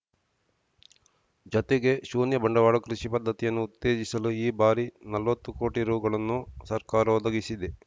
ಜತೆಗೆ ಶೂನ್ಯ ಬಂಡವಾಳ ಕೃಷಿ ಪದ್ಧತಿಯನ್ನು ಉತ್ತೇಜಿಸಲು ಈ ಬಾರಿ ನಲ್ವತ್ತು ಕೋಟಿ ರುಗಳನ್ನು ಸರ್ಕಾರ ಒದಗಿಸಿದೆ